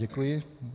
Děkuji.